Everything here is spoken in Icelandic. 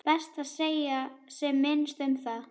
Best að segja sem minnst um það.